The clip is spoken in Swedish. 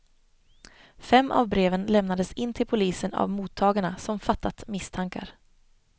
Fem av breven lämnades in till polisen av mottagarna, som fattat misstankar.